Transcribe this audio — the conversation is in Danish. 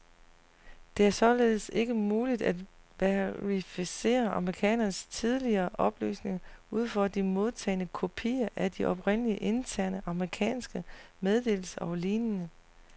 Det er således ikke muligt at verificere amerikanernes tidligere oplysninger ud fra de modtagne kopier af de oprindelige interne amerikanske meddelelser og lignende.